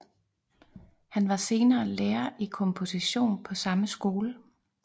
Han var senere lærer i komposition på samme skole